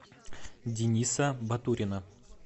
дениса батурина